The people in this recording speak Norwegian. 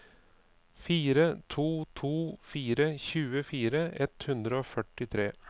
fire to to fire tjuefire ett hundre og førtitre